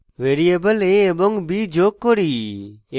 variable a এবং b যোগ করি